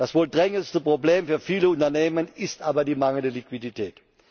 Das wohl drängendste Problem für viele Unternehmen ist aber die mangelnde Liquidität.